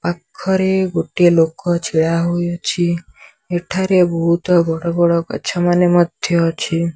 ପାଖରେ ଗୋଟିଏ ଲୋକ ଛିଡାହୋଇଅଛି ଏଠାରେ ବୋହୁତ ବଡବଡ ଗଛମାନେ ମଧ୍ୟ ଅଛି।